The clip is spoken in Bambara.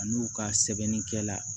A n'u ka sɛbɛnnikɛla